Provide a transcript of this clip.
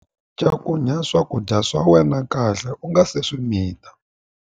Cakunya swakudya swa wena kahle u nga si swi mita.